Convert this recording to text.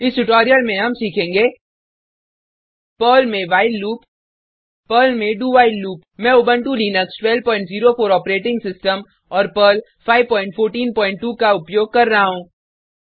इस ट्यूटोरियल में हम सीखेंगे पर्ल में व्हाइल लूप पर्ल में do व्हाइल लूप मैं उबंटु लिनक्स1204 ऑपरेटिंग सिस्टम और पर्ल 5142 का उपयोग कर रहा हूँ